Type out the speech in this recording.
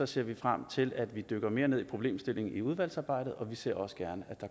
ser vi frem til at vi dykker mere ned i problemstillingen i udvalgsarbejdet og vi ser også gerne